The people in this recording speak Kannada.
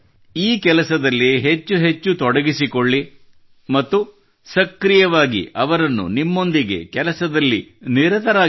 ಈ ಕೆಲಸದಲ್ಲಿ ಹೆಚ್ಚೆಚ್ಚು ತೊಡಗಿಸಿಕೊಳ್ಳಿ ಮತ್ತು ಸಕ್ರೀಯವಾಗಿ ಅವರನ್ನು ನಿಮ್ಮೊಂದಿಗೆ ಕೆಲಸದಲ್ಲಿ ನಿರತವಾಗಿಸಿ